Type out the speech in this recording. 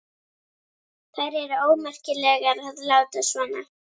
Þær eru ómerkilegar að láta svona.